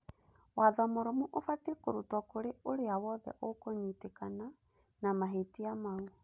watho mũrũmu ũbatie kũrutwo kũrĩ ũria wothe ũkũnyitĩkana na mahĩtia mau.